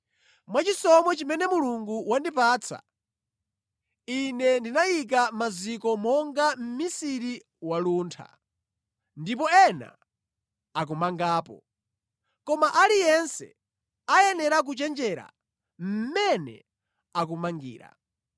Mwachisomo chimene Mulungu wandipatsa, ine ndinayika maziko monga mmisiri waluntha, ndipo ena akumangapo. Koma aliyense ayenera kuchenjera mmene akumangira.